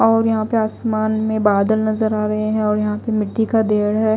और यहां पे आसमान में बादल नजर आ रहे हैं और यहां पे मिट्टी का ढेर है।